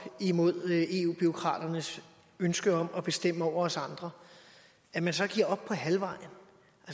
imod eu bureaukraternes ønske om at bestemme over os andre at man så giver op på halvvejen